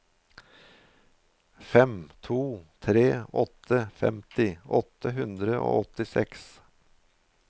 fem to tre åtte femti åtte hundre og åttiseks